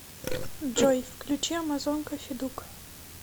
джой включи амазонка федук